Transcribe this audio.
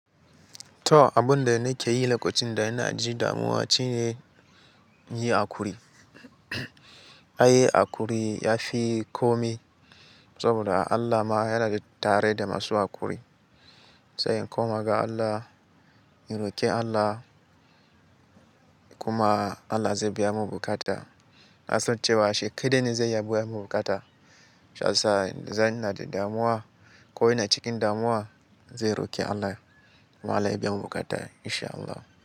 To, abunda nake yi lokacin da ina ji damuwa shine yi hakuri. Ai hakuri yafi komai saboda Allah ma ya yana tare da masu hakuri. Sai in koma ga Allah, in roki Allah kuma Allah zai biya mun bukata. Na san cewa shi kaɗai ne zai iya biya mun bukata. Shiyasa zan ina da damuwa ko ina cikin damuwa, zan roki Allah kuma Allah ya biya mu bukata insha Allah.